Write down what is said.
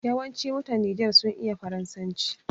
Yawanci mutan Niger sun iya Faransanci.